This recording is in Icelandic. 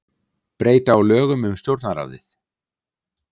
Breyta á lögum um Stjórnarráðið